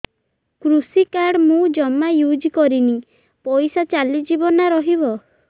କୃଷି କାର୍ଡ ମୁଁ ଜମା ୟୁଜ଼ କରିନି ପଇସା ଚାଲିଯିବ ନା ରହିବ